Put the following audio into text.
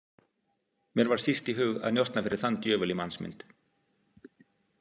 Mér var síst í hug að njósna fyrir þann djöful í mannsmynd.